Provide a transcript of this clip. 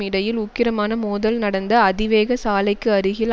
இடையில் உக்கிரமான மோதல் நடந்த அதிவேக சாலைக்கு அருகில்